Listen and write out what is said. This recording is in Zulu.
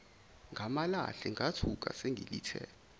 ngamalahle ngethuka sengilithe